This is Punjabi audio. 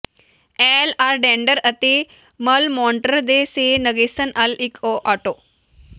ਏਲ ਆਰਡੇਂਡਰ ਅਤੇ ਅਲ ਮੋਨਟਰ ਸੇ ਨਗੇਸਿਨ ਅਲ ਇਕ ਓ ਆਟੋ